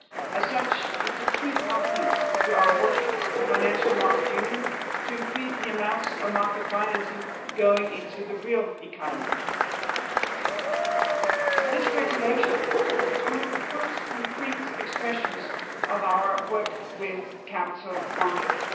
As such, it is a key component in our work on the financial markets union to increase the amounts of market financing going into the real economy. This regulation is one of the first concrete expressions of our work with capital markets.